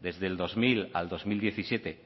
desde el dos mil al dos mil diecisiete